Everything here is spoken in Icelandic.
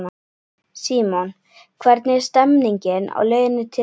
Símon: Hvernig er stemningin á leiðinni til eyja?